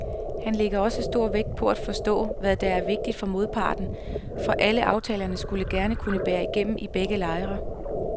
Han lægger også stor vægt på at forstå, hvad der er vigtigt for modparten, for aftalerne skulle gerne kunne bære igennem i begge lejre.